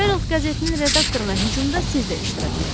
Ferold qəzetinin redaktoruna hücumda siz də iştirak etmisiz.